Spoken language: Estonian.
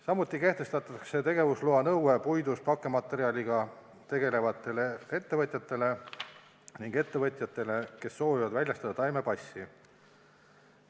Samuti kehtestatakse tegevusloa nõue puidust pakkematerjaliga tegelevatele ettevõtjatele ning ettevõtjatele, kes soovivad väljastada taimepassi.